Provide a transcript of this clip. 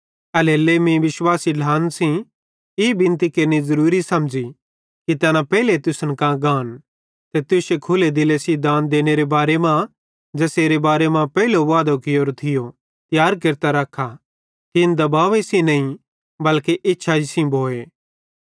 एल्हेरेलेइ मीं विश्वासी ढ्लान सेइं ई बिनती केरनि ज़रूरी समझ़ी कि तैना पेइले तुसन कां गान ते तुश्शे खुल्ले दिले सेइं दान देनेरे बारे मां ज़ेसेरे बारे मां पेइलो वादो कियोरो थियो तियार केरतां रखा कि इन दबावे सेइं नईं बल्के इच्छाई सेइं भोए